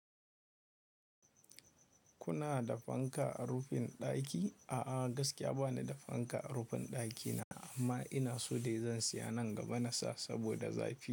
Kuna da fanka a rufin ɗaki? A'a, gaskiya ba ni da fanka a rufin ɗakina amma ina so dai zan siya nan gaba na sa saboda zafi.